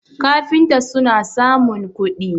kafinta suna samun kudi